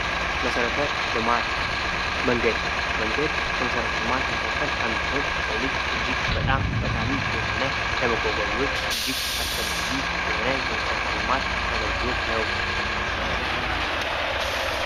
መሰረተ ልማት መንገድ። መንገድ ከመሰረተ ልማት መካከል አንዱ ሲሆን ለሰው ልጅ እጅግ በጣም ጠቃሚ የሆነ ለመጓጓዣዎች እጅግ አስፈላጊ የሆነ የመሠረተ ልማት አገልግሎት ነው።